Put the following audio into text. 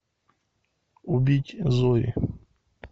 убить зои